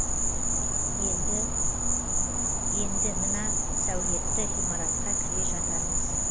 енді мына сәулетті ғимаратқа кіре жатармыз